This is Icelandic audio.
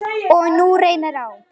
Og nú reynir á.